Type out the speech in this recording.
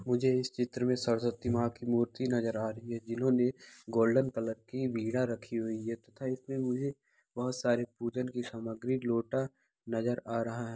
मुझे इस चित्र में सरस्वती माँ की मूर्ति नजर आ रही है जिन्होंने गोल्डन कलर की वीणा रखी हुई है तथा इसमें मुझे बहुत सारी पूजन की सामग्री लोटा नजर आ रहा है।